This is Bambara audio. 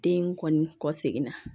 Den kɔni kɔ seginna